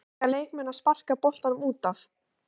Eiga leikmenn að sparka boltanum útaf?